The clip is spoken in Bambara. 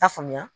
T'a faamuya